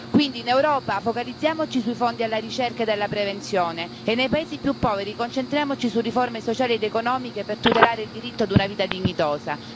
Quindi, in Europa, focalizziamoci sui fondi alla ricerca ed alla prevenzione, e nei paesi più poveri, concentriamoci su riforme sociali ed economiche per tutelare il diritto ad una vita dignitosa.